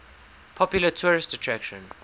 popular tourist attraction